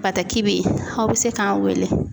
Bataki bɛ ye aw bɛ se k'an wele.